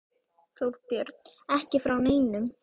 Þorbjörn: Ekki frá neinum?